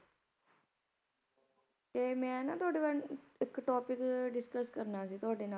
ਤੇ ਮੈਂ ਨਾ ਤੁਹਾਡੇ ਨਾਲ ਇੱਕ topic discuss ਕਰਨਾ ਸੀ ਤੁਹਾਡੇ ਨਾਲ